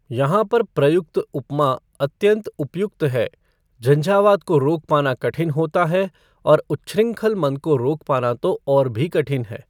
यहॉ पर प्रयुक्त उपमा अत्यन्त उपयुक्त है झंझावात को रोक पाना कठिन होता है और उच्छृंखल मन को रोक पाना तो और भी कठिन है।